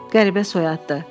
Qəribə soyaddır.